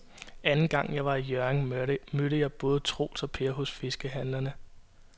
Anden gang jeg var i Hjørring, mødte jeg både Troels og Per hos fiskehandlerne.